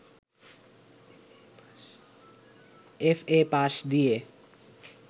FA. পাশ দিয়ে